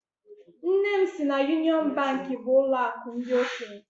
Nne m sị na Yunịọn Bankị bụ ụlọakụ ndị okenye.